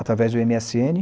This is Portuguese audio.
Através do eme esse ene